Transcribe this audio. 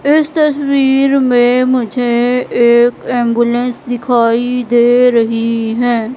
इस तस्वीर में मुझे एक एंबुलेंस दिखाई दे रही है।